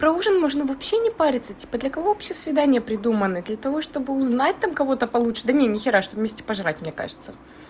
про ужин можно вообще не париться типа для кого вообще свидания придуманы для того чтобы узнать там кого-то получше да нет нихера чтобы вместе пожрать мне кажется